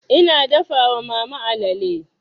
Ina dafa wa mama alale.